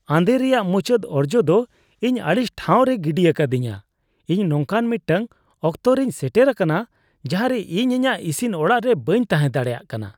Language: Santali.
ᱟᱸᱫᱮ ᱨᱮᱭᱟᱜ ᱢᱩᱪᱟᱹᱫ ᱚᱨᱡᱚ ᱫᱚ ᱤᱧ ᱟᱹᱲᱤᱥ ᱴᱷᱟᱶ ᱨᱮᱭ ᱜᱤᱰᱤ ᱟᱠᱟᱫᱤᱧᱟᱹ ᱾ ᱤᱧ ᱱᱚᱝᱠᱟᱱ ᱢᱤᱫᱴᱟᱝ ᱚᱠᱛᱚ ᱨᱮᱧ ᱥᱮᱴᱮᱨ ᱟᱠᱟᱱᱟ ᱡᱟᱦᱟᱨᱮ ᱤᱧ ᱤᱧᱟᱹᱜ ᱤᱥᱤᱱ ᱚᱲᱟᱜ ᱨᱮ ᱵᱟᱹᱧ ᱛᱟᱦᱮᱸ ᱫᱟᱲᱮᱭᱟᱜ ᱠᱟᱱᱟ ᱾